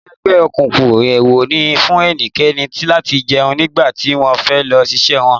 Nínú ẹgbẹ́ òkùnkùn, ewo ni fún ẹnikẹ́ni láti jẹun nígbà tí wọ́n fẹ́ lọ ṣiṣẹ́ wọn.